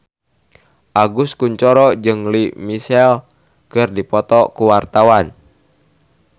Agus Kuncoro jeung Lea Michele keur dipoto ku wartawan